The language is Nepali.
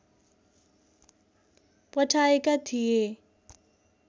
पठाएका थिए